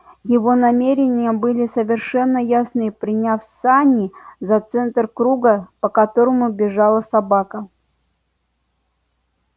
его намерения были совершенно ясны приняв сани за центр круга по которому бежала собака